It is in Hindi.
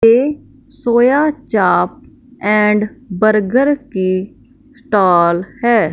ये सोया चाप एंड बर्गर के स्टाल है।